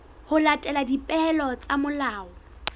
ho latela dipehelo tsa molao